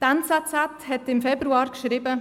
Die «NZZ» hat im Februar geschrieben: